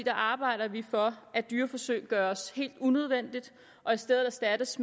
arbejder vi for at dyreforsøg gøres helt unødvendige og i stedet erstattes